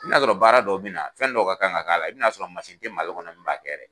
I bɛn'a sɔrɔ baara dɔw bɛ na fɛn dɔw ka kan ka k'a la i bɛn'a sɔrɔ mansin tɛ Mali kɔnɔ min b'a kɛ